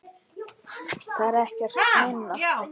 Það er ekkert minna!